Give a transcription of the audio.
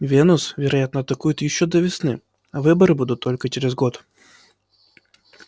венус вероятно атакует ещё до весны а выборы будут только через год